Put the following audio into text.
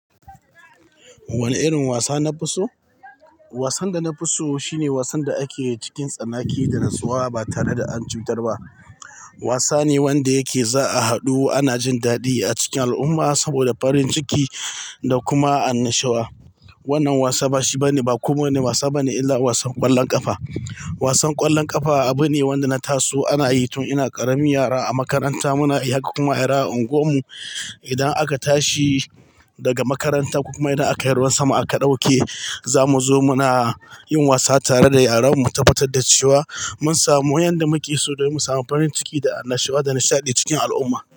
Wane irin wasa na fi so? Wasan da na fi so shine wasan da ake cikin tsanaki da natsuwa ba tare da an cutar ba. Wasa ne wanda yake za a haɗu ana jin daɗi a cikin al'umma saboda farin ciki da kuma annashuwa. Wannan wasa ba shi bane, ba kowane wasa bane illa wasan ƙwallon ƙafa. Wasan ƙwallon ƙafa abu ne wanda na taso ana yi tun ina ƙaramin yara a makaranta muna yi har kuma yaran unguwar mu idan aka tashi daga makaranta ko kuma idan aka yi ruwan sama aka ɗauke zamu zo muna yin wasa tare da yaran mu. Tabbatar da cewa mun samu yanda muke so don mu samu farin ciki da annashuwa da nishaɗi cikin al'umma.